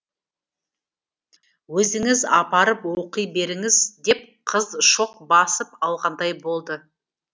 өзіңіз апарып оқи беріңіз деп қыз шоқ басып алғандай болды